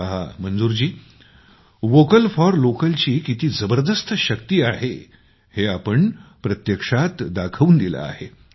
पहा मंजूरजी vocal for लोकलची किती जबरदस्त शक्ती आहे हे आपण प्रत्यक्षात दाखवून दिलं आहे